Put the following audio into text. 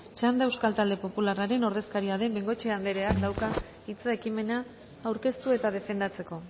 txanda euskal talde popularraren ordezkaria den bengoechea andreak dauka hitza ekimena aurkeztu eta defendatzeko